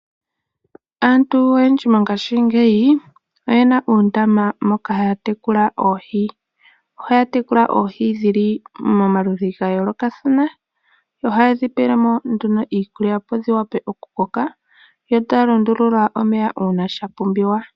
Aantu oyendji mongashingeyi oyena uundama moka haya tekula oohi. Ohaya tekula oohi dhi li omaludhi ga yoolokathana yo ohaye dhi pele mo nduno iikulya opo dhi wa pe okukoka, yo taya lundulula omeya uuna shapumbiwa.